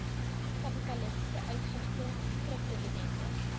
kapitalisasie uitgifte skripdividende